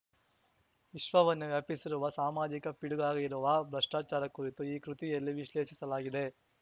ವಿಶ್ವವನ್ನೇ ವ್ಯಾಪಿಸಿರುವ ಸಾಮಾಜಿಕ ಪಿಡುಗಾಗಿರುವ ಭ್ರಷ್ಟಾಚಾರ ಕುರಿತು ಈ ಕೃತಿಯಲ್ಲಿ ವಿಶ್ಲೇಷಿಸಲಾಗಿದೆ